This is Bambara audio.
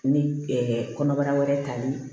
Ni kɔnɔbara wɛrɛ tali